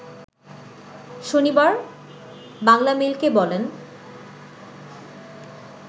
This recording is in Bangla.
শনিবার বাংলামেইলকে বলেন